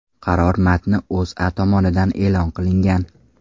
Qaror matni O‘zA tomonidan e’lon qilingan .